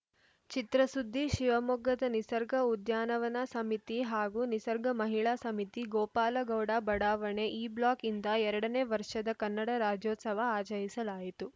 ಚಿತ್ರಸುದ್ದಿ ಶಿವಮೊಗ್ಗದ ನಿಸರ್ಗ ಉದ್ಯಾನವನ ಸಮಿತಿ ಹಾಗೂ ನಿಸರ್ಗ ಮಹಿಳಾ ಸಮಿತಿ ಗೋಪಾಲಗೌಡ ಬಡಾವಣೆ ಇಬ್ಲಾಕ್‌ಯಿಂದ ಎರಡ ನೇ ವರ್ಷದ ಕನ್ನಡ ರಾಜ್ಯೋತ್ಸವ ಆಚರಿಸಲಾಯಿತು